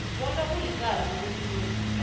bona kulicala ukukhuluma